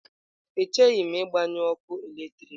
Echeghị m ịgbanyụ ọkụ eletrik.